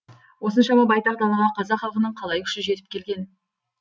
осыншама байтақ далаға қазақ халқының қалай күші жетіп келген